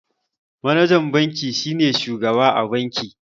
Manajan banki shine shugaba a banki.